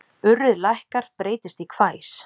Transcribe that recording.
Urrið lækkar, breytist í hvæs.